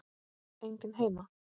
Enginn heima!